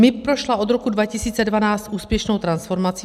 MIB prošla od roku 2012 úspěšnou transformací.